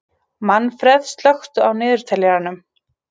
Manfreð, slökktu á niðurteljaranum.